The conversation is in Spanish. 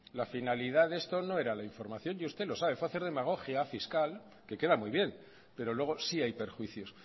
la finalidad de esto no era la información y usted lo sabe fue hacer demagogia fiscal que queda muy bien pero luego sí hay perjuicios